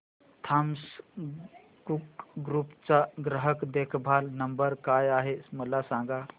Thomas Cook group चा ग्राहक देखभाल नंबर काय आहे मला सांगा